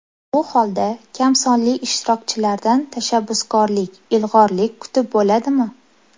Bu holda kamsonli ishtirokchilardan tashabbuskorlik, ilg‘orlik kutib bo‘ladimi?